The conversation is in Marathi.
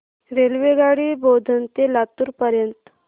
रेल्वेगाडी बोधन ते लातूर पर्यंत